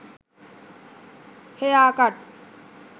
hair cut